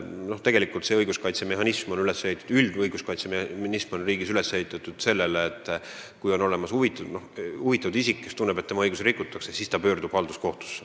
Riigi üldine õiguskaitsemehhanism on üles ehitatud sellisena, et kui on olemas huvitatud isik, kes tunneb, et tema õigusi rikutakse, siis ta pöördub halduskohtusse.